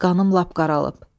Qanım lap qaralıb.